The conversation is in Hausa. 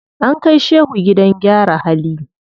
An kai shehu gidan gyara hali.